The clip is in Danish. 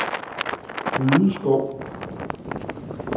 Ryde Skov